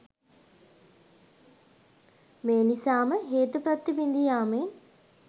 මේ නිසාම හේතු ප්‍රත්‍ය බිඳීයාමෙන්